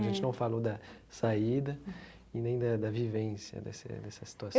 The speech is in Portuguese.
A gente não falou da saída e nem da da vivência, dessa dessa situação.